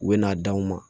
U bɛ n'a d'anw ma